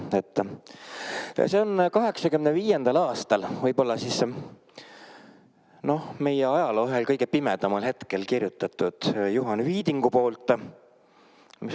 See on 1985. aastal, võib-olla siis meie ajaloo ühel kõige pimedamal hetkel kirjutatud Juhan Viidingu poolt.